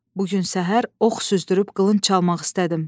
Bu gün səhər ox süzdürüb qılınc çalmaq istədim.